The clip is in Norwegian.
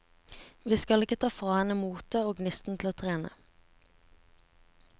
Vi skal ikke ta fra henne motet og gnisten til å trene.